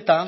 eta